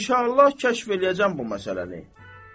İnşallah kəşf eləyəcəm bu məsələni.